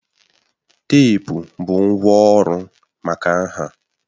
Teepu bụ ngwá ọrụ maka nha